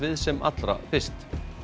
sem allra fyrst